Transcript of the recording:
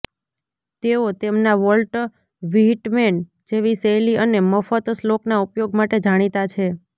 તેઓ તેમના Walt Whitman જેવી શૈલી અને મફત શ્લોકના ઉપયોગ માટે જાણીતા છે